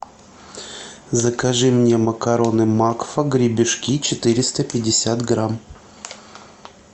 закажи мне макароны макфа гребешки четыреста пятьдесят грамм